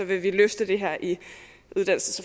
vi løfte det her i uddannelses